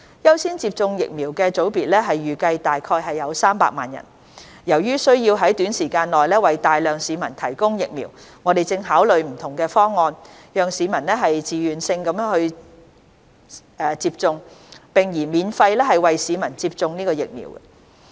優先接種疫苗的組別預計約300萬人，由於需要在短時間內為大量市民提供疫苗，我們正考慮不同的方案，讓市民以自願性質接種，並擬免費為市民接種疫苗。